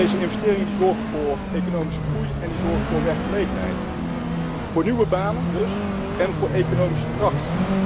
Deze investeringen zorgen voor economische groei en voor werkgelegenheid. Voor nieuwe banen dus en voor economische kracht.